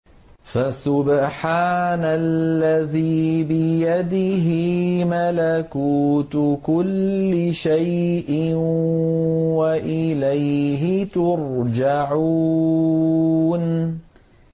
فَسُبْحَانَ الَّذِي بِيَدِهِ مَلَكُوتُ كُلِّ شَيْءٍ وَإِلَيْهِ تُرْجَعُونَ